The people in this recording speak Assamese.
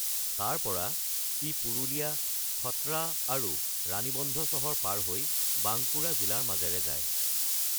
তাৰ পৰা, ই পুৰুলীয়া, খটৰা আৰু ৰাণীবন্ধ চহৰ পাৰ হৈ বাংকুৰা জিলাৰ মাজেৰে যায়।